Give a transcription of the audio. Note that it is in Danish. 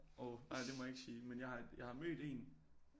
Åh nej det må jeg ikke sige men jeg har jeg har mødt en